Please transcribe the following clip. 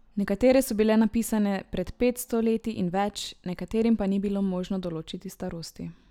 Nekatere so bile napisane pred petsto leti in več, nekaterim pa ni bilo možno določiti starosti.